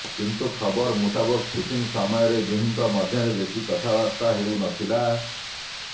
କିନ୍ତୁ ଖବର ମୁତାବକ ସୁଟିଂ ସମୟରେ ଦୁହିଁଙ୍କ ମଧ୍ୟରେ ବେଶି କଥା ବାର୍ତ୍ତା ହେଉ ନଥିଲା